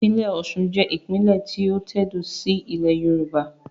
Ìpínlẹ̀ Osun jẹ́ ìpínlè tí ó tẹ̀dó síí ilẹ̀ Yorùbá